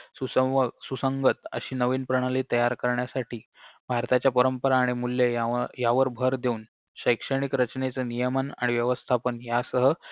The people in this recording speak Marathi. सुसंवव सुसंगत अशी नवीन प्रणाली तयार करण्यासाठी भारताच्या परंपरा आणि मूल्ये यांव यावर भर देऊन शैक्षणिक रचनेचे नियमन आणि व्यवस्थापन यांसह